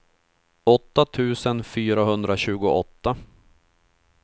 åtta tusen fyrahundratjugoåtta